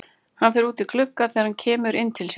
Hann fer út í glugga þegar hann kemur inn til sín.